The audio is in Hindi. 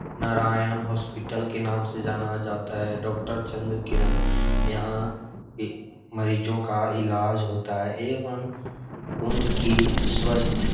नारायण हॉस्पिटल के नाम से जाना जाता है डॉक्टर चन्द्रकिरण यहाँ मरीजों का इलाज होता है एवं उनकी स्वस्थ --